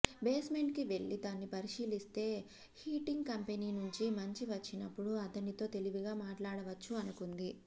బేస్మెంట్కి వెళ్ళి దాన్ని పరిశీలిస్తే హీటింగ్ కంపెనీనుంచి మనిషి వచ్చినప్పుడు అతనితో తెలివిగా మాట్లాడవచ్చు అనుకుంది